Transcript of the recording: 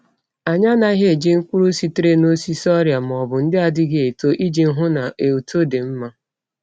Anyị anaghị eji mkpụrụ sitere n’osisi ọrịa ma ọ bụ ndị adịghị eto iji hụ na uto dị mma.